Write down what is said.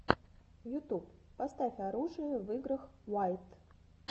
ютуб поставь оружие в играх уайт